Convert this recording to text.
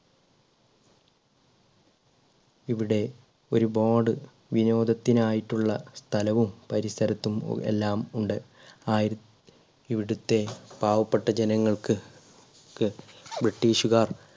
ഇവിടെ ഒരുപാട് വിനോദത്തിനായിട്ടുള്ള സ്ഥലവും പരിസരത്തും എല്ലാം ഉണ്ട് ആയിര ഇവിടുത്തെ പാവപ്പെട്ട ജനങ്ങൾക്ക് ക്ക് british കാർ